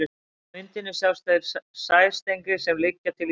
Á myndinni sjást þeir sæstrengir sem liggja til Íslands.